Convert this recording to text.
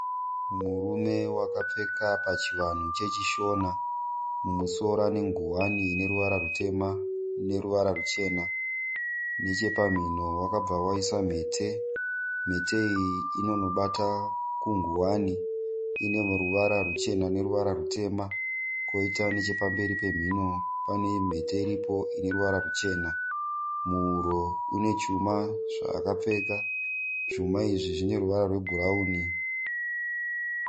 Murume wakapfeka pachivanhu chechishona. Mumusoro anenguwani ineruvara rutema neruvara ruchena. Nechepamhino wakabva waisa mhete. Mhete iyi inonobata kunguwani. Ine ruvara ruchena neruvara rutema. Koita nechepamberi pemhino pane mhete iripo ineruvara ruchena. Muhuro une chuma zvaakapfeka. Zvuma izvi zvine ruvara rwe bhurauni.